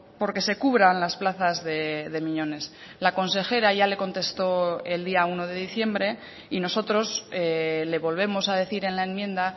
por que se cubran las plazas de miñones la consejera ya le contestó el día uno de diciembre y nosotros le volvemos a decir en la enmienda